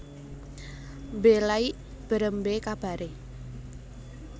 Mbe Laik Berembe Kabare